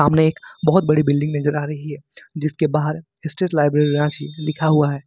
सामने एक बहोत बड़ी बिल्डिंग नजर आ रही है जिसके बाहर स्टेट लाइब्रेरी रांची लिखा हुआ है।